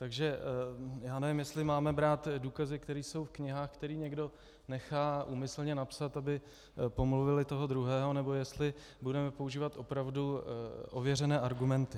Takže já nevím, jestli máme brát důkazy, které jsou v knihách, které někdo nechá úmyslně napsat, aby pomluvil toho druhého, nebo jestli budeme používat opravdu ověřené argumenty.